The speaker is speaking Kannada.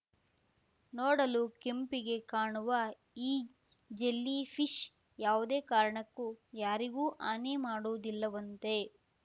ನೋಡಲು ಕೆಂಪಗೆ ಕಾಣುವ ಈ ಜೆಲ್ಲಿ ಫಿಶ್ ಯಾವುದೇ ಕಾರಣಕ್ಕೂ ಯಾರಿಗೂ ಹಾನಿ ಮಾಡುವುದಿಲ್ಲವಂತೆ